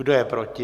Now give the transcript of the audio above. Kdo je proti?